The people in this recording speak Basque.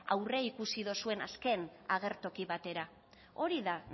aurreikusi dozuen azken agertoki batera hori da